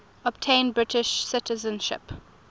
obtain british citizenship